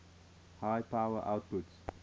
high power outputs